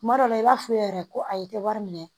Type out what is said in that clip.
Kuma dɔ la i b'a f'u ye yɛrɛ ko ayi tɛ wari minɛ